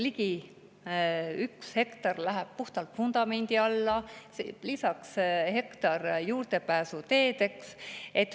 Ligi üks hektar läheb puhtalt vundamendi alla, lisaks hektar juurdepääsuteedeks.